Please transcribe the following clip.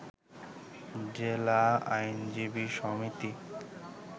জেলা আইনজীবী সমিতি